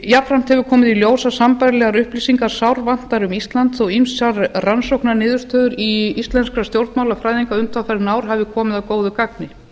jafnframt hefur komið í ljós að sambærilegar upplýsingar sárvantar um ísland þó ýmsar rannsóknarniðurstöður íslenskra stjórnmálafræðinga undanfarin ár hafi komið að góðu gagni